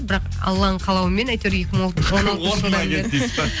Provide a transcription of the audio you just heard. бірақ алланың қалауымен әйтеуір екі мың он алтыншы жылдан бері